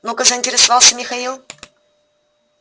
ну-ка заинтересовался михаил